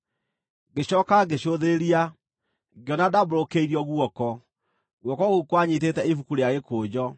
Ngĩcooka ngĩcũthĩrĩria, ngĩona ndaambũrũkĩirio guoko. Guoko kũu kwanyiitĩte ibuku rĩa gĩkũnjo,